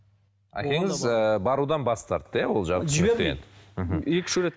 әкеңіз ыыы барудан бас тартты иә ол екі үш рет